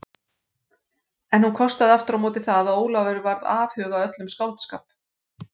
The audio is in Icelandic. En hún kostaði aftur á móti það að Ólafur varð afhuga öllum skáldskap.